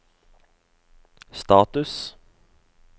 status